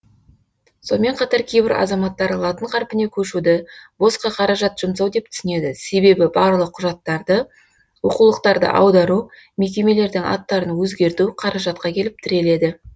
сонымен қатар кейбір азаматтар латын қарпіне көшуді босқа қаражат жұмсау деп түсінеді себебі барлық құжаттарды оқулықтарды аудару мекемелердің аттарын өзгерту қаражатқа келіп тіреледі